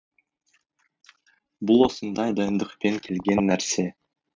бұл осындай дайындықпен келген нәрсе